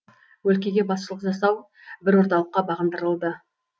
өлкеге басшылық жасау бір орталыққа бағындырылды